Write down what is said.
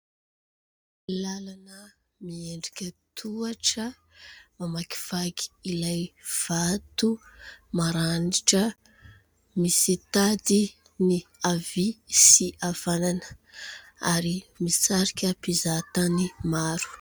Lalana miendrika tohatra mamakivaky ilay vato maranitra. Misy tady ny avia sy avanana ary misarika mpizaha-tany maro.